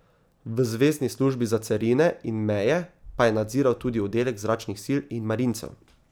V zvezni službi za carine in meje pa je nadziral tudi oddelek zračnih sil in marincev.